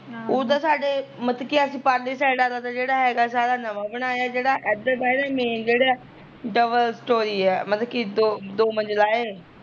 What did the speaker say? ਉਦਾ ਸਾਡੇ ਮਤਲਬ ਕੀ ਜਿਹੜਾ ਪਰਲੀ ਸੇਡ ਆਲਾ ਜਿਹੜਾ ਹੈਗਾ ਸਾਰਾ ਨਵਾਂ ਬਣਾਇਆ ਜਿਹੜਾ ਏਦਰਲਾ ਐ ਨਾ main ਜਿਹੜਾ, double story ਐ ਮਤਲਬ ਕੀ ਦੋ ਦੋ ਮੰਜਿਲਾ ਐ